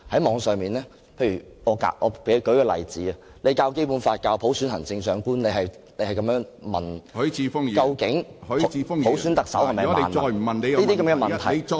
我舉出一個例子，在教授《基本法》、普選行政長官的時候要問，究竟普選特首是否萬能等問題......